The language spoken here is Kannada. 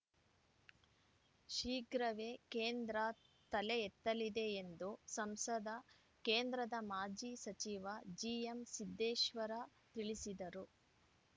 ಶೀಘ್ರವೇ ಕೇಂದ್ರ ತಲೆ ಎತ್ತಲಿದೆ ಎಂದು ಸಂಸದ ಕೇಂದ್ರದ ಮಾಜಿ ಸಚಿವ ಜಿಎಂಸಿದ್ದೇಶ್ವರ ತಿಳಿಸಿದರು